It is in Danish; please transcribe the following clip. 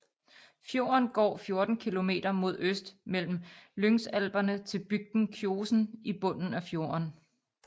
Fjorden går 14 kilometer mod øst mellem Lyngsalperne til bygden Kjosen i bunden af fjorden